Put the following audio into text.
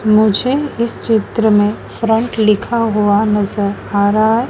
मुझे इस चित्र में फ्रंट लिखा हुआ नजर आ रहा है।